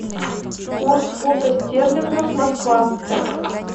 курс фунта стерлингов москва